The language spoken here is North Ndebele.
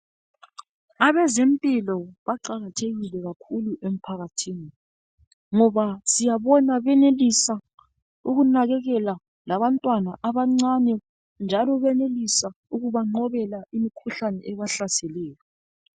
Abeze mpilo baqakathekile kakhulu emphakathini ngoba siyabona bayenelisa ukunakekela labantwana abancane njalo bayenelisa ukuba nqobela imkhuhlane ebahlaseleyo.